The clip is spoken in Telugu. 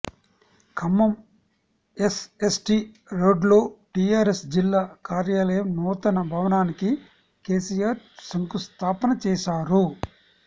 ఖమ్మం ఎస్ఎస్టీ రోడ్లో టిఆర్ఎస్ జిల్లా కార్యాలయం నూతన భవనానికి కెసిఆర్ శంకుస్థాపన చేశారు